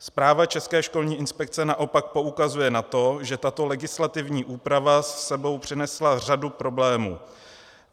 Zpráva České školní inspekce naopak poukazuje na to, že tato legislativní úprava s sebou přinesla řadu problémů.